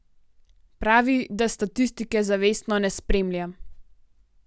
Pravi, da statistike zavestno ne spremlja.